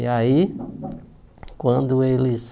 E aí, quando eles...